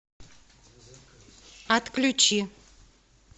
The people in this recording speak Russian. отключи